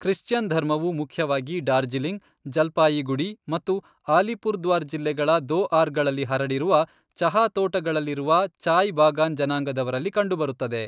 Christian ಧರ್ಮವು ಮುಖ್ಯವಾಗಿ ಡಾರ್ಜಿಲಿಂಗ್, ಜಲ್ಪಾಯೀಗುಡೀ ಮತ್ತು ಅಲಿಪುರ್ದ್ವಾರ್ ಜಿಲ್ಲೆಗಳ ದೋಆರ್ಗಳಲ್ಲಿ ಹರಡಿರುವ ಚಹಾ ತೋಟಗಳಲ್ಲಿರುವ ಚಾಯ್ ಬಾಗಾನ್ ಜನಾಂಗದವರಲ್ಲಿ ಕಂಡುಬರುತ್ತದೆ.